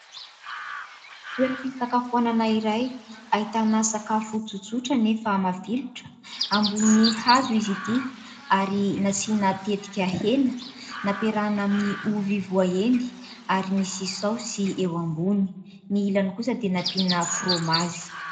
Toeram-pisakafoanana iray ahitana sakafo tsotsotra nefa mafilotra ambonin'ny hazo izy ity ary nasiana tetika hena nampiarahina amin'ny ovy voaendy ary misy saosy eo ambony. Ny ilany kosa dia nampiana "fromazy".